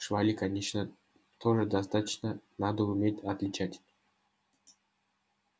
швали конечно тоже достаточно надо уметь отличать